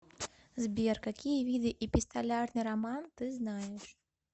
сбер какие виды эпистолярный роман ты знаешь